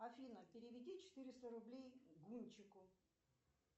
афина переведи четыреста рублей гунчику